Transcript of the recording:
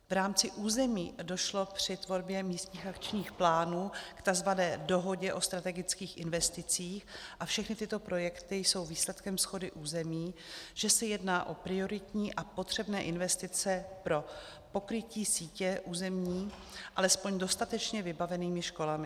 V rámci území došlo při tvorbě místních akčních plánů k tzv. dohodě o strategických investicích a všechny tyto projekty jsou výsledkem shody území, že se jedná o prioritní a potřebné investice pro pokrytí sítě území alespoň dostatečně vybavenými školami.